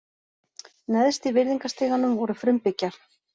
Neðst í virðingastiganum voru frumbyggjar.